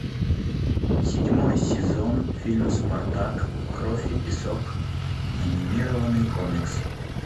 седьмой сезон фильм спартак кровь и песок анимированный комикс